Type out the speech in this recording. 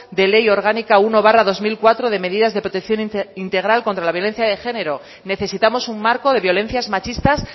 de ley orgánica uno barra dos mil cuatro de medidas de protección integral contra la violencia de género necesitamos un marco de violencias machistas